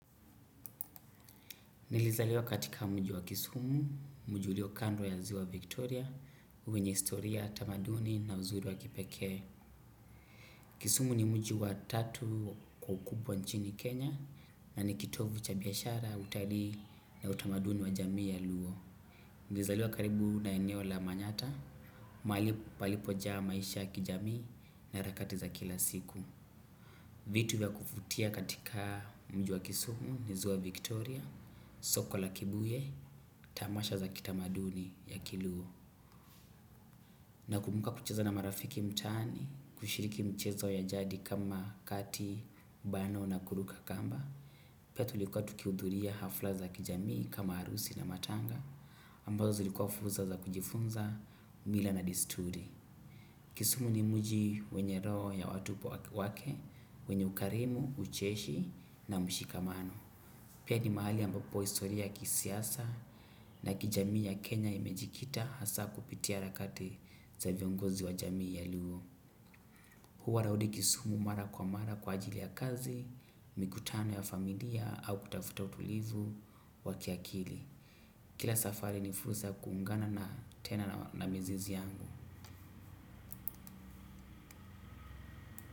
Nilizaliwa katika mji wa kisumu, mji ulio kando ya ziwa Victoria, wenye historia, tamaduni na uzuri wa kipekee. Kisumu ni mji tatu kwa ukubwa nchini Kenya na ni kitovu cha biashara utalii na utamaduni wa jamii ya luo. Nilizaliwa karibu na eneo la manyata, palipo jaa maisha ya kijamii na harakati za kila siku. Vitu vya kuvutia katika mji kisumu ni ziwa Victoria, soko la kibuye, tamasha za kitamaduni ya kiluo. Nakumbuka kucheza na marafiki mtaani, kushiriki michezo ya jadi kama kati, bano na kuruka kamba. Pia tulikuwa tukiudhuria hafla za kijamii kama harusi na matanga, ambazo zilikuwa fursa za kujifunza mila na desturi. Kisumu ni mji wenye roho ya watupo wake, wenye ukarimu, ucheshi na mshikamano. Pia ni mahali ambapo historia kisiasa na kijamii ya Kenya imejikita hasa kupitia harakati za viongozi wa jamii ya luo. Huwa narudi kisumu mara kwa mara kwa ajili ya kazi, mikutano ya familia au kutafuta utulivu wa kiakili. Kila safari ni furusa kuungana na tena na mizizi yangu.